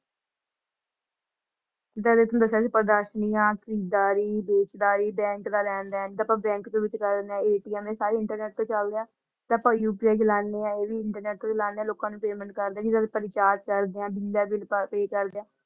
Bank ਦਾ ਲੈਣ-ਦੇਣ ਤੇ ਜਿਦਾ ਅੱਪਾ ਬੈਂਕ ਦੇ ਵਿਚ ਕਰਦੇ ਨੇ ATM ਸਾਰੇ internet ਤੇ ਚਲਦੇ ਹਾ ਤੇ ਅੱਪਾ UPI ਚਲਾਂਦੇ ਹਾ ਇਹ ਵੀ internet ਤੋਂ ਚਲਾਂਦੇ ਹੈ ਲੋਕ ਨੂੰ payment ਕਰਦੇ ਜਦੋ ਕਰਦੇ ਹਾ ।